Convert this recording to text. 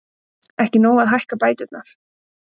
Ekki nóg að hækka bæturnar